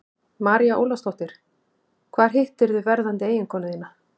María Ólafsdóttir: Hvar hittirðu verðandi eiginkonu þína?